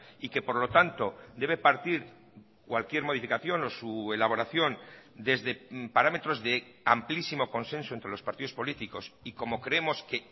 y que por lo tanto debe partir cualquier modificación o su elaboración desde parámetros de amplísimo consenso entre los partidos políticos y como creemos que